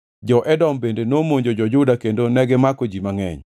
Jo-Edom bende nomonjo jo-Juda kendo negimako ji mangʼeny.